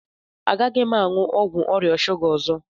Agaghị m aṅụ ọgwụ ọrịa shuga a ọzọ